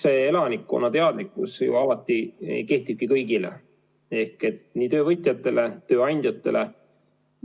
Eks see elanikkonna teadlikkusele kehtibki kõigi, nii töövõtjate kui tööandjate puhul.